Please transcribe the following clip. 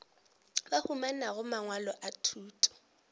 ba humanago mangwalo a thuto